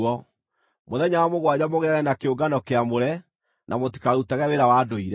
Mũthenya wa mũgwanja mũgĩage na kĩũngano kĩamũre, na mũtikarutage wĩra wa ndũire.